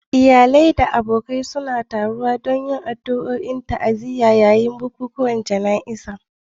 Iyalai da abokai suna taruwa don yin addu'o'i da ta'aziyya yayin bukukuwan jana'izar